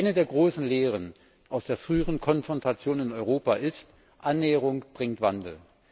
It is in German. Eine der großen Lehren aus der früheren Konfrontation in Europa ist Annäherung bringt Wandel.